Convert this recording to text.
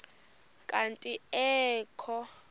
kanti ee kho